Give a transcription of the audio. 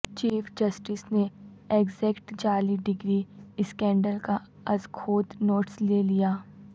chief justice نے Axact جعلی degree scandal کا ازخود نوٹس لے لیا